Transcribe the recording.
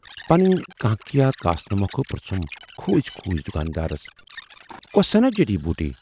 پنٕنۍ کٲنکھیا کاسنہٕ مۅکھٕ پرژُھم کھوٗژۍ کھوٗژۍ دُکاندارس، کۅسہٕ سنا جڈی بوٗٹی؟